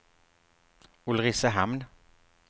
Ulricehamn